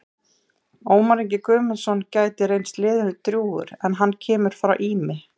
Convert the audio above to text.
Ómar Ingi Guðmundsson gæti reynst liðinu drjúgur en hann kemur frá Ými.